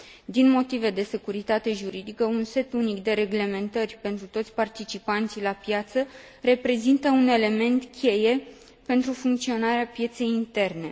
Din motive de securitate juridică, un set unic de reglementări pentru toți participanții la piață reprezintă un element cheie pentru funcționarea pieței interne.